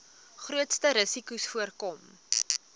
grootste risikos voorkom